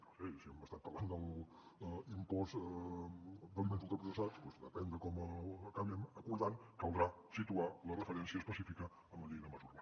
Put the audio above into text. no ho sé si hem estat parlant de l’impost d’aliments ultraprocessats doncs depèn de com ho acabem acordant caldrà situar la referència específica en la llei de mesures